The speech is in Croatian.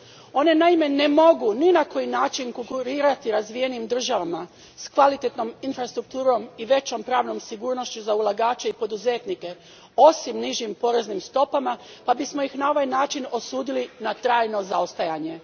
One, naime, ne mogu ni na koji način konkurirati razvijenijim državama s kvalitetnom infrastrukturom i većom pravnom sigurnošću za ulagače i poduzetnike osim nižim poreznim stopama, pa bismo ih na ovaj način osudili na trajno zaostajanje.